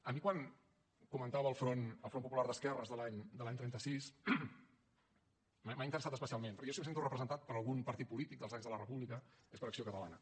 a mi quan comentava el front popular d’esquerres de l’any trenta sis m’ha interessat especialment perquè jo si em sento representat per algun partit polític dels anys de la república és per acció catalana